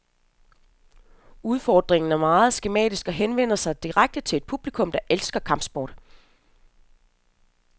Udfordringen er meget skematisk og henvender sig direkte til et publikum, der elsker kampsport.